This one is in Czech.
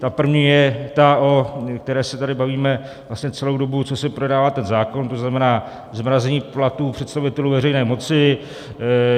Ta první je ta, o které se tady bavíme vlastně celou dobu, co se projednává ten zákon, to znamená zmrazení platů představitelů veřejné moci.